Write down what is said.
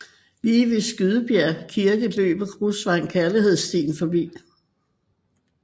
Lige ved Skydebjerg Kirke løber grusvejen Kærlighedsstien forbi